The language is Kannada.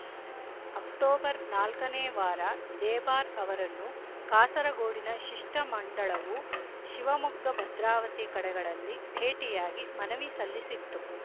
ಅಕ್ಟೋಬರ್ ನಾಲ್ಕನೇ ವಾರ ದೇಬಾರ್ ಅವರನ್ನು ಕಾಸರಗೋಡಿನ ಶಿಷ್ಟ ಮಂಡಳವು ಶಿವಮೊಗ್ಗ ಭದ್ರಾವತಿ ಕಡೆಗಳಲ್ಲಿ ಭೇಟಿಯಾಗಿ ಮನವಿ ಸಲ್ಲಿಸಿತ್ತು